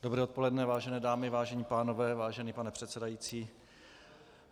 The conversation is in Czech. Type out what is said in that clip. Dobré odpoledne, vážené dámy, vážení pánové, vážený pane předsedající.